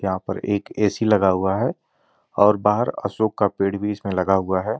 यहां पर एक ए_सी लगा हुआ है और बाहर अशोक का पेड़ भी इसमें लगा हुआ है ।